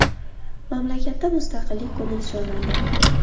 Mamlakatda mustaqillik kuni nishonlandi.